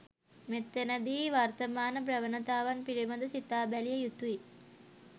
මෙතැන දී වර්තමාන ප්‍රවණතාවන් පිළිබඳවත් සිතා බැලිය යුතු යි.